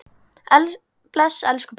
Bless, elsku pabbi.